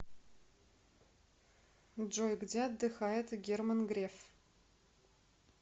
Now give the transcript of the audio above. джой где отдыхает герман греф